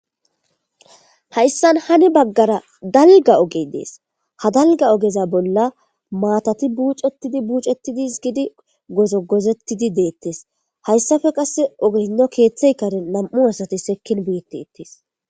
Hayssan hani baggara darida ogee dees; ha dalgga ogeza bolla maathathi buuceththidi buuceththidi gozogozeththidi deeththees; hayssape qassi hinno keeththee karen nam7u asathi sekkin beeththeeththes.